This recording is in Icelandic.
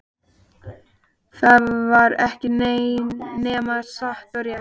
Það var ekki nema satt og rétt.